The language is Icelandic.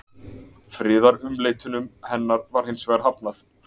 friðarumleitunum hennar var hins vegar hafnað